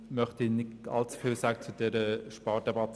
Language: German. Darum möchte ich nicht allzu viel zu dieser sagen.